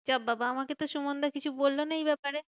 যা বাবা আমাকে তো সুমনদা কিছু বললো না এই ব্যাপারে।